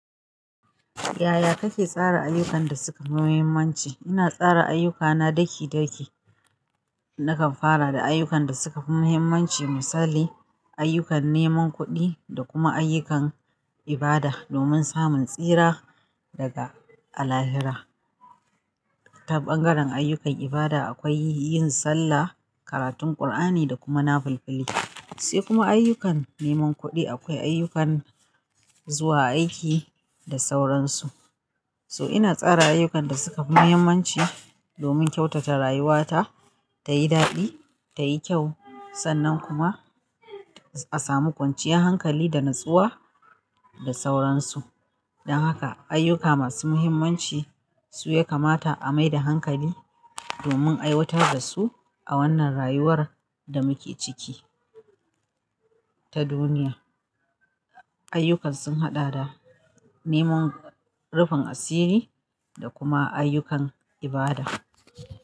Yaya kake tsara ayyukan da suka fi muhimmanci? Ina tsara ayyukana daki-daki. Nakan fara da ayyukan da suka fi muhimmanci, misali ayyukan neman kuɗi da kuma ayyukan ibada domin samun tsira daga Allahira. Ta ɓangaren ayyukan ibada akwai yin sallah, karatun ƙur'ani da kuma nafulfili, sai kuma ayyukan neman kuɗi akwai ayyukan zuwa aiki da sauran su. So ina tsara ayyukan da suka fi muhimmanci domin kyautata rayuwata tayi daɗi, tayi kyau sannan kuma a samu kwanciyar hankali da natsuwa da sauran su. Dan haka ayyuka masu muhimmanci su ya kamata a mai da hankali domin aiwatar da su a wannan rayuwar da muke ciki ta duniya. Ayyukan sun haɗa da neman rufin asiri da kuma ayyukan ibada.